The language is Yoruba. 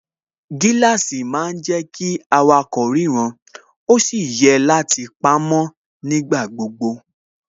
Gíláàsì má ń jẹ́ kí awakọ̀ ríran ó sì yẹ láti pamó nígbà gbogbo